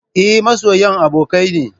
Eh, masoyan abokai ne